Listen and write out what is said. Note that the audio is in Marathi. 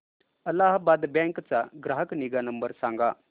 अलाहाबाद बँक चा ग्राहक निगा नंबर सांगा